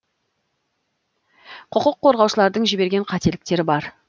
құқық қорғаушылардың жіберген қателіктері бар